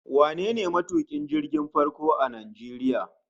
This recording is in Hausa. Wane ne matukin jirgin farko a Najeriya?